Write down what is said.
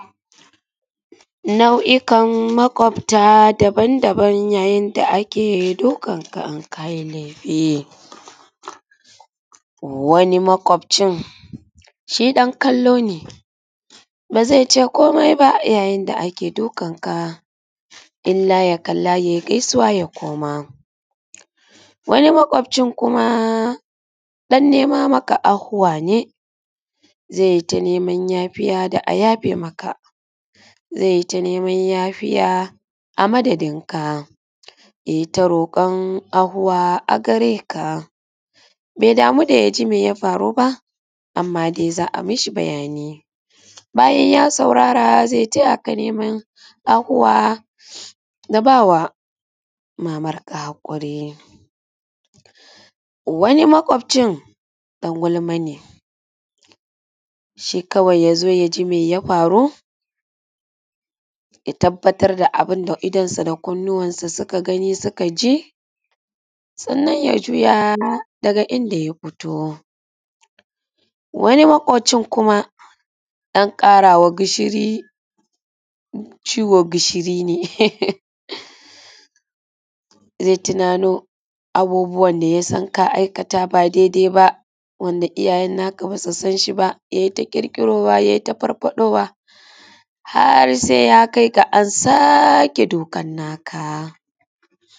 nau’ikan makofta daban daban yayin da ake dukan ka inkayi laifi wani makofcin shi dan kallo ne bazai ce komai ba yayin da ake dukan ka illa yakalla yayi gaisuwa ya koma wani makofcin kuma dan nema maka ahuwa ne zaita neman yafiya da a yafe maka zaita neman yafiya a madadin ka yayi ta rokon ahuwa agareka bai damu da yaji meya faru ba amma dai za’a mishi bayani bayan ya saurara zai tayaka neman ahuwa da bawa mamanka hakuri wani makofcin dan gulma ne shikawai yazo yaji mai ya faru ya tabbatar da abun da idon sa da kunnin sa sukaji sannan ya juya daga inda ya fito wani makofcin dan karawa ciwo gishiri ne zai tuna no abubuwan da yasan ka aikata ba dai dai ba wanda iyya yenka basu sanshi ba yai ta kirki rowa yayi ta farfadowa har saiya kaiga ansake dukan naka